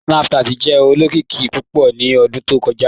Snapchat jẹ olokiki pupọ̀ ni ọ̀dún tó kọja."